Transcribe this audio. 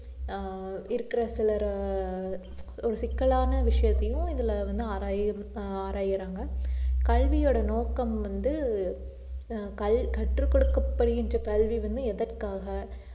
ஆஹ் இருக்கிற சிலர் ஒரு சிக்கலான விஷயத்தையும் இதுல வந்து ஆராயு~ ஆராயுறாங்க கல்வியோட நோக்கம் வந்து ஆஹ் கல்~ கற்றுக் கொடுக்கப்படுகின்ற கல்வி வந்து எதற்காக